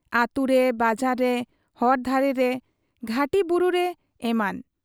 ᱟᱹᱛᱩᱨᱮ, ᱵᱟᱡᱟᱨ ᱨᱮ, ᱦᱚᱨ ᱫᱷᱟᱨᱮ ᱨᱮ, ᱜᱷᱟᱹᱴᱤ ᱵᱩᱨᱩᱨᱮ ᱮᱢᱟᱱ ᱾